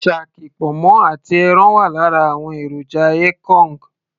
shaki, ponmo àti ẹran wà lára àwọn èròjà ekong